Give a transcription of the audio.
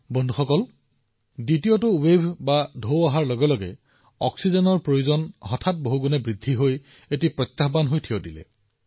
বন্ধুসকল যেতিয়া দ্বিতীয়টো ঢৌ আহিছিল অক্সিজেনৰ চাহিদা হঠাতে বহুগুণে বৃদ্ধি পাইছিল আৰু ই এটা ডাঙৰ প্ৰত্যাহ্বান হৈ পৰিছিল